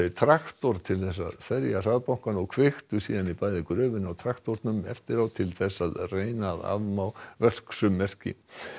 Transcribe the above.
traktor til þess að ferja hraðbankann og kveiktu síðan í bæði gröfunni og traktornum eftir á til þess að reyna að afmá verksummerki